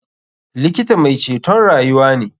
Likita mai ceton rayuwa ne.